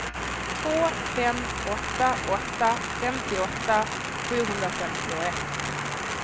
två fem åtta åtta femtioåtta sjuhundrafemtioett